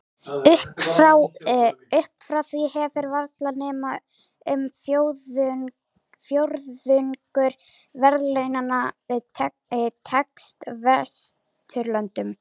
Upp frá því hefur varla nema um fjórðungur verðlaunanna tengst Vesturlöndum.